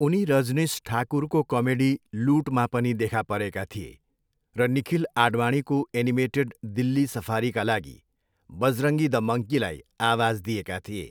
उनी रजनीश ठाकुरको कमेडी लुटमा पनि देखा परेका थिए र निखिल आडवाणीको एनिमेटेड दिल्ली सफारीका लागि बजरङ्गी द मङ्कीलाई आवाज दिएका थिए।